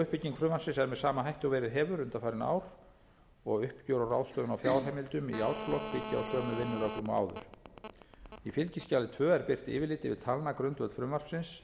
uppbygging frumvarpsins er með sama hætti og verið hefur undanfarin ár og uppgjör og ráðstöfun á fjárheimildastöðum í árslok byggja á sömu vinnureglum og áður í fylgiskjali tvö er birt yfirlit yfir talnagrundvöll frumvarpsins